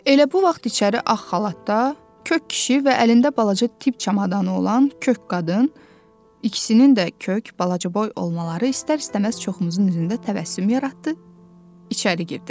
Elə bu vaxt içəri ağ xalatda kök kişi və əlində balaca tibb çamadanı olan kök qadın, ikisinin də kök balaca boy olmaları istər-istəməz çoxumuzun üzündə təbəssüm yaratdı, içəri girdi.